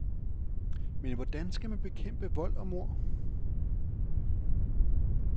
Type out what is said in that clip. Men hvordan skal man bekæmpe vold og mord.